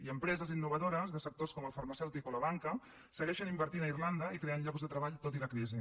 i empreses innovadores de sectors com el farmacèutic o la banca segueixen invertint a irlanda i creant llocs de treball tot i la crisi